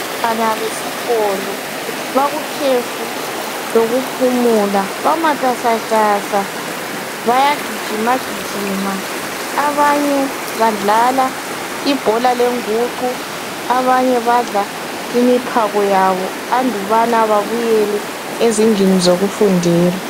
Abantwana besikolo bakukhefu lokuphumula bamatasatasa bayagijima gijima .Abanye badlala ibhola lenguqu abanye badla imiphako yabo andubana babuyele ezindlini zokufundela.